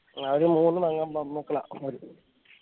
അവരു മൂന്നു പെങ്ങ് പെൺമക്കള അവരിക്ക്